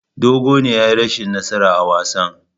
Dogo ne ya yi rashin nasara a wasan.